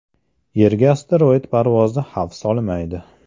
Yerga asteroid parvozi xavf solmaydi.